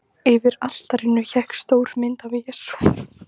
Yfir altarinu hékk stór mynd af Jesú.